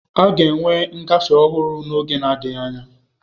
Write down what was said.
A ga-enwe ngafe ọhụrụ n'oge adịghị anya.